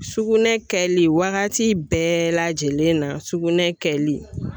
Sugunɛ kɛli, wagati bɛɛ lajɛlen na sugunɛ kɛli .